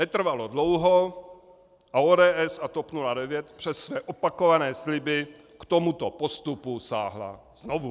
Netrvalo dlouho a ODS a TOP 09 přes své opakované sliby k tomuto postupu sáhla znovu.